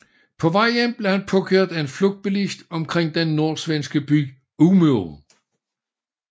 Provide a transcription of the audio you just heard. På vejen hjem blev han påkørt af en flugtbilist omkring den nordsvenske by Umeå